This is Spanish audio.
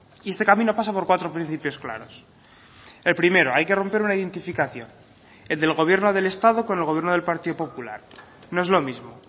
y este camino pasa por cuatro principios claros el primero hay que romper una identificación el del gobierno del estado con el gobierno del partido popular no es lo mismo